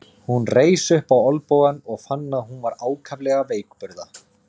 Hún reis upp á olnbogann og fann að hún var ákaflega veikburða.